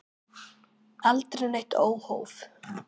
Aldrei neitt óhóf.